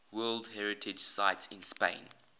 world heritage sites in spain